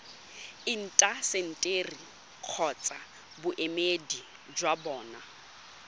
intaseteri kgotsa boemedi jwa bona